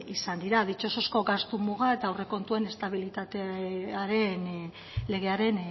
izan dira ditxosozko gastu muga eta aurrekontuen estabilitatearen legearen